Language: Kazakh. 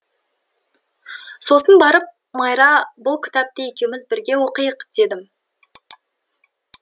сосын барып майра бұл кітапты екеуміз бірге оқиық дедім